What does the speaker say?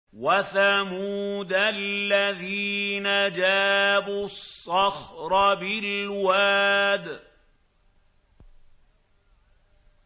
وَثَمُودَ الَّذِينَ جَابُوا الصَّخْرَ بِالْوَادِ